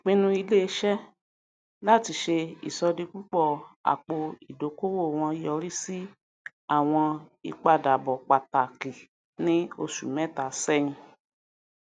ìpinnu iléiṣẹ láti ṣe ìṣọdipúpọ àpò ìdókòwò wọn yọrí sí àwọn ìpadàbọ pàtàkì ní osù mẹta sẹyìn